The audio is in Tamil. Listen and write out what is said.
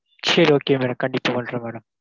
சேரி okay madam கண்டிப்பா பண்றோம் madam.